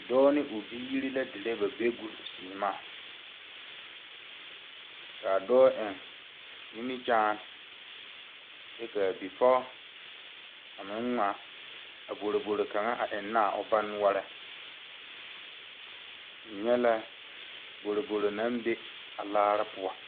Doɔ ane ɔ biiri la dire ba bɛɛguu seɛmaã kaa doɔ en nimikyaane kye ka a bipɔg a meng ngmaa a boroboro kanga a enna a ɔ ba noɔring nye la boroboro nang bɛ a laari puo.